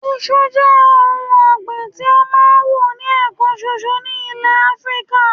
Isu je oun ogbin ti o ma n wu ni ekan soso ni ilé afrika